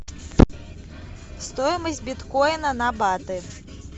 стоимость биткоина на баты